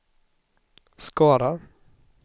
Skara